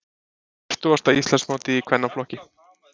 Fertugasta Íslandsmótið í kvennaflokki